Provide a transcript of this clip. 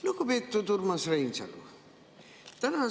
Lugupeetud Urmas Reinsalu!